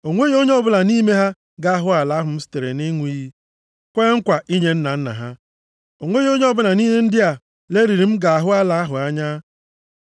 o nweghị onye ọbụla nʼime ha ga-ahụ ala ahụ m sitere nʼịṅụ iyi kwee nkwa inye nna nna ha. O nweghị onye ọbụla nʼime ndị a lelịrị m ga-ahụ ala ahụ anya.